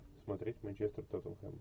смотреть манчестер тоттенхэм